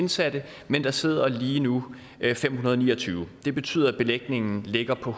indsatte men der sidder lige nu fem hundrede og ni og tyve det betyder at belægningen ligger på